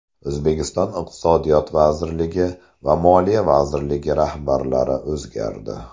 O‘zbekiston Iqtisodiyot vazirligi va Moliya vazirligi rahbarlari o‘zgardi.